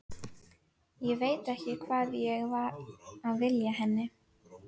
Ég veit ekki hvað ég var að vilja henni.